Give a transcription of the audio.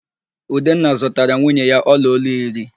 Udenna zụtaara nwunye ya ọlaolu iri